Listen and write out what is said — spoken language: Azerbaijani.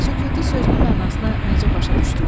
Süqutu sözünün mənasını necə başa düşdüz?